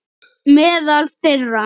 Meðal þeirra